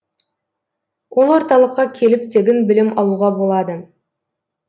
ол орталыққа келіп тегін білім алуға болады